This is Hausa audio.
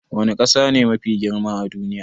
Wani kasa ne Mafi girma a duniya?